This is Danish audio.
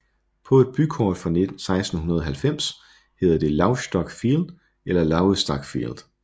På et bykort fra 1690 hedder det Lauvstock Field eller Lauvstak Field